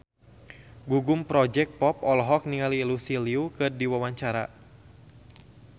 Gugum Project Pop olohok ningali Lucy Liu keur diwawancara